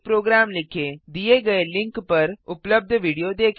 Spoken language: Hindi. दिए गए link httpspoken tutorialorg What is a Spoken Tutorial पर उपलब्ध विडियो देखें